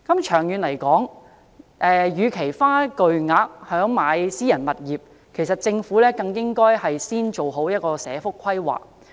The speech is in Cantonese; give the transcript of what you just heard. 長遠來說，與其花巨額資金來購置私人物業，政府更應先做好社福規劃。